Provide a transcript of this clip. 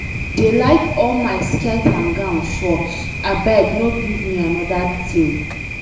I dey like all my skirt and gown short, abeg no give me another thing.